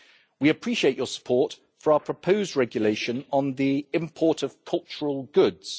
We appreciate your support for our proposed regulation on the import of cultural goods.